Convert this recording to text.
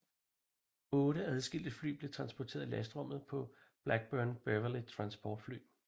Otte adskilte fly blev transporteret i lastrummet på Blackburn Beverley transportfly